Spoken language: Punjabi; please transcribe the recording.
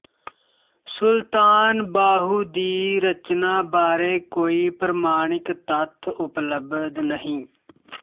ਸੁਲਤਾਨ ਬਾਹੂ ਦੀ ਰਚਨਾ ਬਾਰੇ ਕੋਈ ਪ੍ਰਮਾਣਿਕ ਤੱਥ ਉਪਲਬਧ ਨਹੀਂ